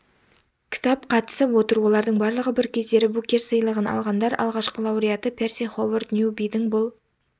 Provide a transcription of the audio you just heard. кітап қатысып отыр олардың барлығы бір кездері букер сыйлығын алғандар алғашқы лауреаты перси ховард ньюбидің бұл